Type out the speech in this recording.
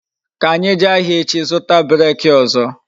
Ka anyi jee ahịa echi zụta breeki ọzọ